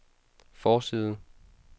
forside